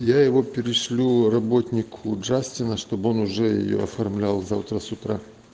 я его перешлю работнику джастина чтобы он уже её оформлял завтра с утра